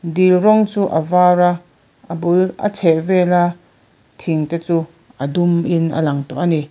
dil rawng chu a var a a bul a chhehvela thing te chu a dum in a lag tawh ani.